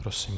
Prosím.